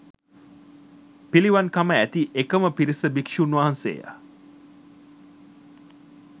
පිළිවන්කම ඇති එකම පිරිස භික්ෂූන් වහන්සේය